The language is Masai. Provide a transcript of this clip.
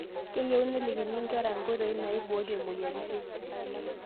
Keyieuninelikini ngerra inkoitoi naiboorie moyiaritin